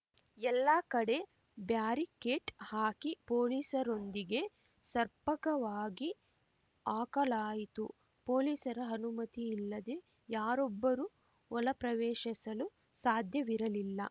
ಎಲ್ಲ ಕಡೆ ಬ್ಯಾರಿಕೇಡ್‌ ಹಾಕಿ ಪೊಲೀಸರೊಂದಿಗೆ ಸರ್ಪಕವಾಗಿ ಹಾಕಲಾಯಿತು ಪೊಲೀಸರ ಅನುಮತಿಯಿಲ್ಲದೆ ಯಾರೊಬ್ಬರೂ ಒಳಪ್ರವೇಶಿಸಲು ಸಾಧ್ಯವಿರಲಿಲ್ಲ